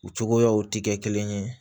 U cogoyaw ti kɛ kelen ye